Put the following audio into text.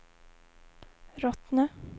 Rottne